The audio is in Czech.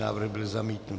Návrh byl zamítnut.